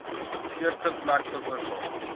eerste plek veroorsaak